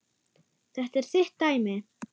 Þetta er þitt dæmi.